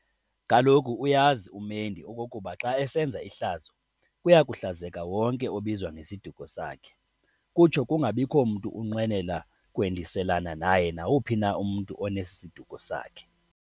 Kaloku uyazi umendi okokuba xa esenza ihlazo, kuyakuhlazeka wonke obizwa ngesiduko sakhe. Kutsho kungabikho mntu unqwenela kwendiselana naye nawuphi na umntu onesi siduko sakhe.